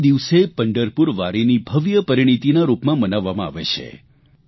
તે દિવસે પંઢરપુર વારીની ભવ્ય પરિણીતીના રૂપમાં મનાવવામાં આવે છે